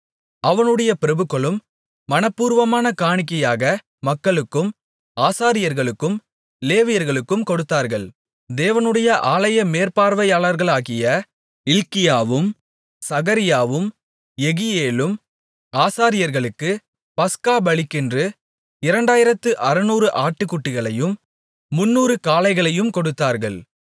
அவனுடைய பிரபுக்களும் மனப்பூர்வமான காணிக்கையாக மக்களுக்கும் ஆசாரியர்களுக்கும் லேவியர்களுக்கும் கொடுத்தார்கள் தேவனுடைய ஆலய மேற்பார்வையாளர்களாகிய இல்க்கியாவும் சகரியாவும் யெகியேலும் ஆசாரியர்களுக்கு பஸ்கா பலிக்கென்று இரண்டாயிரத்து அறுநூறு ஆட்டுக்குட்டிகளையும் முந்நூறு காளைகளையும் கொடுத்தார்கள்